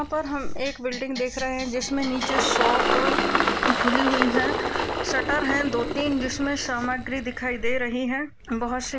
यहा पर हम एक बिल्डिंग देख रहे है जिसमे नीचे शॉप खुली हुई है शटर है दो तीन जिसमे सामग्री दिखाई दे रही है बोहोतसी --